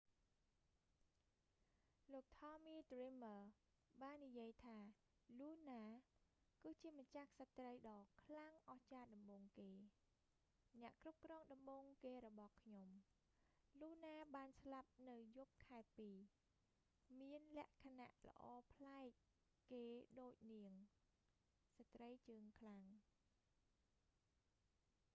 លោក tommy dreamer ថមមី ឌ្រីមើរ បាននិយាយថា luna លូណា គឺជាម្ចាស់ក្សត្រីដ៏ខ្លាំងអស្ចារ្យដំបូងគេ អ្នកគ្រប់គ្រងដំបូងគេរបស់ខ្ញុំ លូណាបានស្លាប់នៅយប់ខែពីរ មានលក្ខណៈល្អប្លែកគេដូចនាង ស្ត្រីជើងខ្លាំង